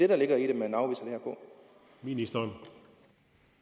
valget når